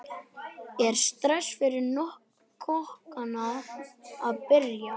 Er stress fyrir kokkana að byrja?